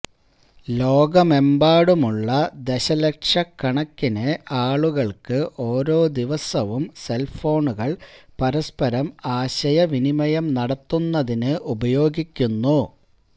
ലോകമെമ്പാടുമുള്ള ദശലക്ഷക്കണക്കിന് ആളുകൾക്ക് ഓരോ ദിവസവും സെൽഫോണുകൾ പരസ്പരം ആശയവിനിമയം നടത്തുന്നതിന് ഉപയോഗിക്കുന്നു